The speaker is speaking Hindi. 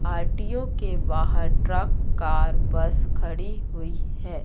आर_टी_ओ के बाहर ट्रक कार बस खड़ी हुई है।